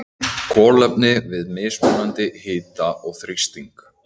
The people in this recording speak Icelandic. Kolefni við mismunandi hita og þrýsting.